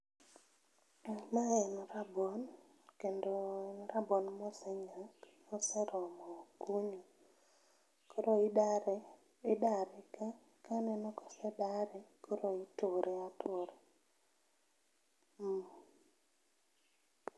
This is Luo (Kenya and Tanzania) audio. Mae en rabuon kendo en rabuon mosenyak moseromo kunyo. Koro idare, idare kaneno ka osedore koro iture atura, mmh